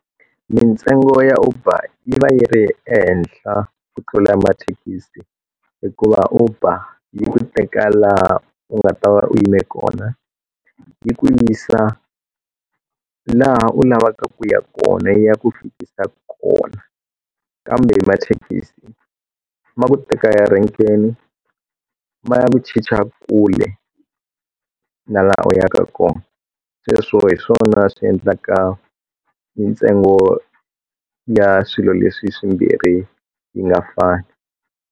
Mintsengo ya Uber yi va yi ri ehenhla ku tlula mathekisi hikuva uber yi ku teka laha u nga ta va u yime kona yi ku yisa laha u lavaka ku ya kona yi ya ku fikisa kona kambe mathekisi ma ku teka a renkeni ma ya ku chicha kule na laha u yaka kona sweswo hi swona swi endlaka mintsengo ya swilo leswi swimbirhi yi nga fani.